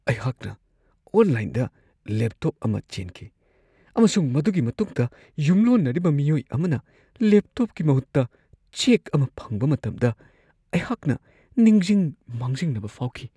ꯑꯩꯍꯥꯛꯅ ꯑꯣꯟꯂꯥꯏꯟꯗ ꯂꯦꯞꯇꯣꯞ ꯑꯃ ꯆꯦꯟꯈꯤ ꯑꯃꯁꯨꯡ ꯃꯗꯨꯒꯤ ꯃꯇꯨꯡꯗ ꯌꯨꯝꯂꯣꯟꯅꯔꯤꯕ ꯃꯤꯑꯣꯏ ꯑꯃꯅ ꯂꯦꯞꯇꯣꯞꯀꯤ ꯃꯍꯨꯠꯇ ꯆꯦꯛ ꯑꯃ ꯐꯪꯕ ꯃꯇꯝꯗ ꯑꯩꯍꯥꯛꯅ ꯅꯤꯡꯖꯤꯡ-ꯃꯥꯡꯖꯤꯡꯅꯕ ꯐꯥꯎꯈꯤ ꯫